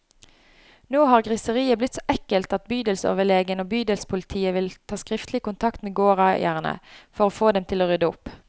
Nå har griseriet blitt så ekkelt at bydelsoverlegen og bydelspolitiet vil ta skriftlig kontakt med gårdeierne, for å få dem til å rydde opp.